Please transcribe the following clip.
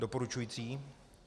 Doporučující.